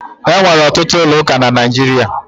E nwere ọtụtụ ụlọ ụka na Naịjirịa.